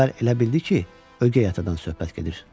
Əvvəl elə bildi ki, ögey atadan söhbət gedir.